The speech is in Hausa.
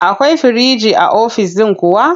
Akwai firinji a ofis ɗin kuwa?